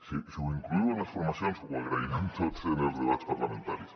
si ho incloeu en les formacions ho agrairem tots en els debats parlamentaris